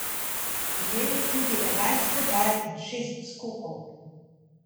Imel je tudi enajst podaj in šest skokov.